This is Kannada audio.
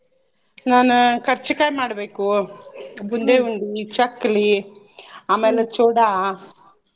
ನಾನ ಕರ್ಚಿಕಾಯ್ ಮಾಡ್ಬೇಕು ಬುಂದೇಉಂಡಿ, ಚಕ್ಕ್ಲಿ ಆಮ್ಯಾಲ ಚೌಡಾ.